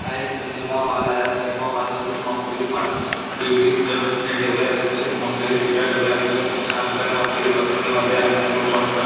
हा एक cinema hall आहे सिनेमा हॉल मध्ये मस्तपैकी दीडशे शिटर हे ठेवल आहे मस्तपैकी सीटा ठेवल्या आहेत आणि इथे खूप छान प्रकारे मस्तपैकी बसून आणि खूप मस्त --